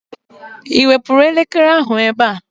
Ị wepụrụ elekere ahụ ebe a?